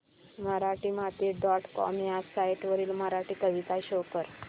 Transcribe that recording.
Marathimati dot com ह्या site वरील मराठी कविता शो कर